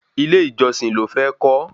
Ilé ìjọsìn ló fẹ́ kọ́